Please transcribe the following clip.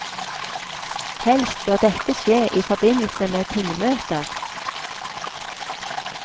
Helst bør dette skje i forbindelse med tingmøter.